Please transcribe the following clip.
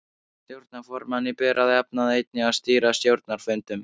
Stjórnarformanni ber að jafnaði einnig að stýra stjórnarfundum.